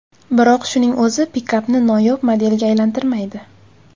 Biroq shuning o‘zi pikapni noyob modelga aylantirmaydi.